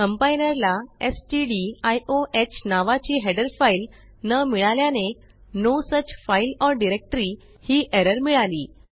compiler ला स्टडिओह नावाची हेडर फाइल न मिळाल्याने no such file or directory ही एरर मिळाली